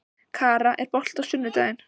Kara, er bolti á sunnudaginn?